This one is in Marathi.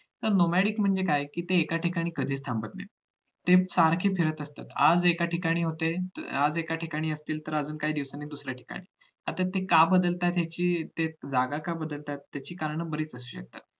मग nomadic म्हणजे काय ते एका ठिकाणी कधीच थांबत नाहीत ते सारखे फिरत असतात आज ठिकाणी होते तर आज एका ठिकाणी असतील तर अजून काही दिवसांनी दुसऱ्या ठिकाणी आता ते का बदलता त्याची ते जागा का बदलतात त्याची कारण बरीचशी आहेत